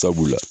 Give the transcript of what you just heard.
Sabula